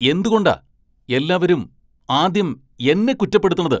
എന്തുകൊണ്ടാ എല്ലാവരും ആദ്യം എന്നെ കുറ്റപ്പെടുത്തണത്?